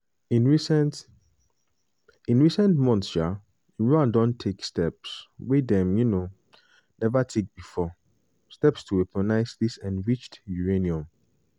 "in recent "in recent months um iran don take steps wey dem um neva take bifor steps to weaponise dis enriched uranium.